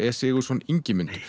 e Sigurðsson Ingimund